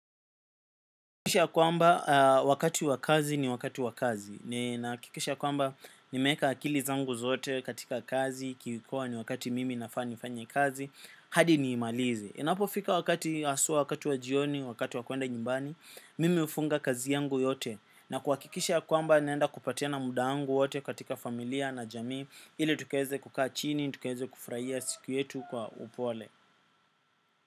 Kwisha ya kwamba wakati wa kazi ni wakati wa kazi. Nina hakikisha kwamba nimeweka akili zangu zote katika kazi ki kuwa ni wakati mimi nafaa nifanye kazi hadi niimalize inapofika wakati haswa wakati wa jioni wakati wa kuenda nyumbani. Mimi hufunga kazi yangu yote na kuhakikisha kwamba naenda kupatiana muda wangu wote katika familia na jamii ile tukaweze kukaa chini tukaweze kufurahia siku yetu kwa upole.